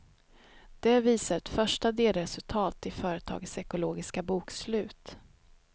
Det visar ett första delresultat i företagets ekologiska bokslut.